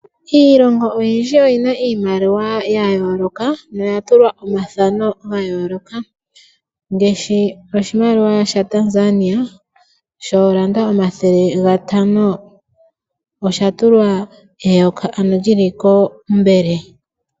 Iilongo oyindji oyi na iimaliwa ya yooloka noya tulwa omathano ga yooloka, ngaashi oshimaliwa shaTanzania shoolanda omathele gatano osha tulwa eyoka ano lyili kombele.